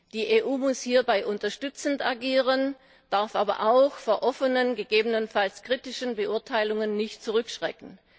Die EU muss hierbei unterstützend agieren, darf aber auch vor offenen, gegebenenfalls kritischen Beurteilungen nicht zurückschrecken.